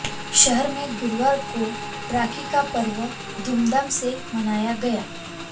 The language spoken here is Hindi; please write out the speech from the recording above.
शहर में गुरुवार को राखी का पर्व धूमधाम से मनाया गया